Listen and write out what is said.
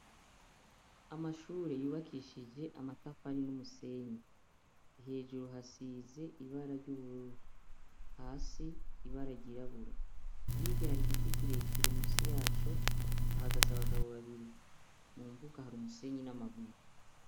Amashure yubakishije amatafari n'umusenyi, hejuru hasize ibara ry’ubururu, ibara ry’irabura higa hari igiti kirekire musi yaco ahagaze abagabo babiri mu mbuga hari umusenyi n'amabuye.